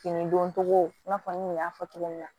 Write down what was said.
Fini don cogo i n'a fɔ n kun y'a fɔ cogo min na